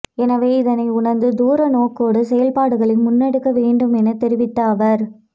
எனவே இதனை உணர்ந்து தூரநோக்கோடு செயற்பாடுகளை முன்னெடுக்க வேண்டும் எனத் தெரிவித்த அவர்